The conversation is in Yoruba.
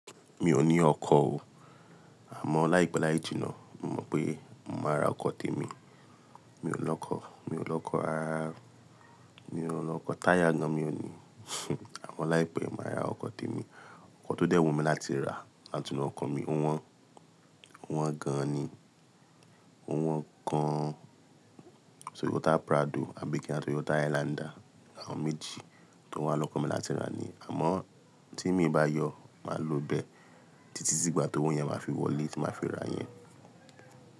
Mi ò ní ọkọ̀ o. Àmọ́ láìpẹ́ láì jìnnà, mo mọ̀ pé màá ra ọkọ̀ tèmi. Mi ò lọkọ̀, mi ò lọkọ̀, rarará mi ò lọkọ̀, táyà gan mi ò ní. Àmọ́ láìpẹ́, màá ra ọkọ̀ tèmi. Ọkọ̀ tó dẹ́ wu mi láti rà, àtúnlo ọkọ̀ mi, ò wọ́n, wọ́n gan ni. Ó wọ́n gan. Toyota Prado àbí kí á tó Toyota Highlander, àwọn méjì tó wà lọ́kan mi láti rà ni. Àmọ́ tí mi bá yọ, màá lo bẹ títí sígbà tó owó yẹn máa fi wọlé tí màá fi ra yẹn.